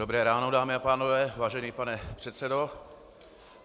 Dobré ráno, dámy a pánové, vážený pane předsedo.